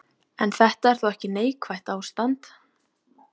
En þetta er þó ekki neikvætt ástand.